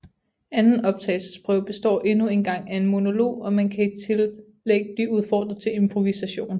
Anden optagelsesprøve består endnu engang af en monolog og man kan i tillæg blive udfordret til improvisation